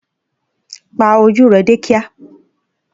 Pa ojú rẹ dé kíá!